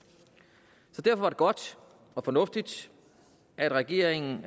derfor er det godt og fornuftigt at regeringen